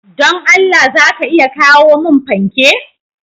Don Allah za a iya kawo mun fanke?